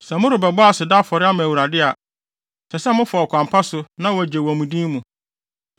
“Sɛ morebɔ aseda afɔre ama Awurade a, ɛsɛ sɛ mofa ɔkwan pa so na wɔagye wɔ mo din mu.